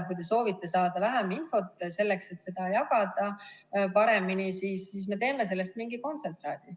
Kui te soovite saada vähem infot, selleks et seda jagada paremini, siis me teeme sellest mingi kontsentraadi.